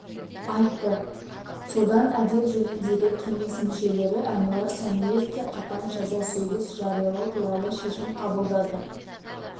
айтты содан әдеп жөніндегі кеңес мүшелері әнуар сәмиевке қатаң жаза сөгіс жариялау туралы шешім қабылдады